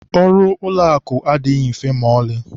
Ọrụ ụlọakụ adịghị mfe maọlị